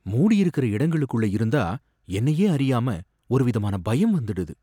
மூடி இருக்கிற இடங்களுக்குள்ள இருந்தா என்னையே அறியாம ஒரு விதமான பயம் வந்துடுது.